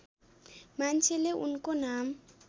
मान्छेले उनको नाम